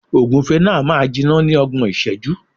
Ògúfe náà máa jiná ní ọgbọ̀n ìṣẹ́jú.